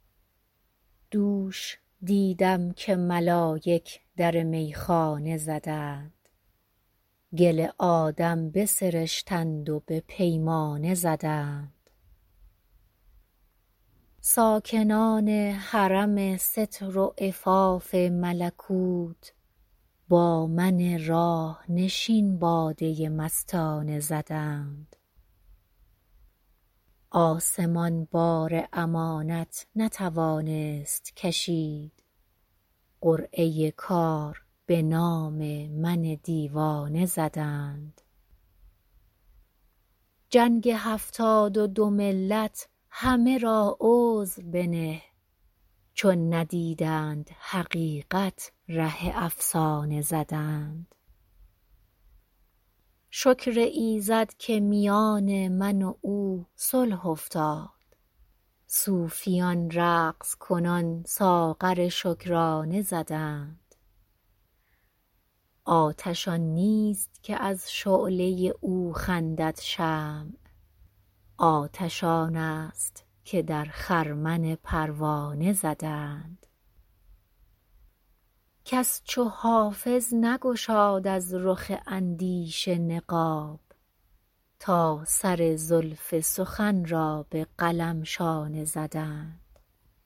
دوش دیدم که ملایک در میخانه زدند گل آدم بسرشتند و به پیمانه زدند ساکنان حرم ستر و عفاف ملکوت با من راه نشین باده مستانه زدند آسمان بار امانت نتوانست کشید قرعه کار به نام من دیوانه زدند جنگ هفتاد و دو ملت همه را عذر بنه چون ندیدند حقیقت ره افسانه زدند شکر ایزد که میان من و او صلح افتاد صوفیان رقص کنان ساغر شکرانه زدند آتش آن نیست که از شعله او خندد شمع آتش آن است که در خرمن پروانه زدند کس چو حافظ نگشاد از رخ اندیشه نقاب تا سر زلف سخن را به قلم شانه زدند